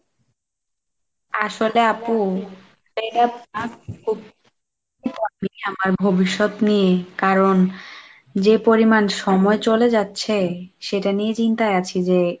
আসলে আপু, আমার ভবিষ্যৎ নিয়ে কারণ যে পরিমান সময় চলে যাচ্ছে সেটা নিয়ে চিন্তায় আছি যে,